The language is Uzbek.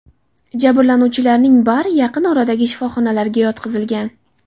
Jabrlanuvchilarning bari yaqin oradagi shifoxonalarga yotqizilgan.